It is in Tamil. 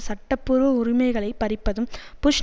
சட்டப்பூர்வ உரிமைகளை பறிப்பதும் புஷ்